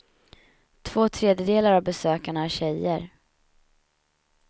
Två tredjedelar av besökarna är tjejer.